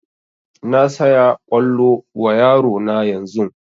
Na saya kwallo wa yaro na yanzun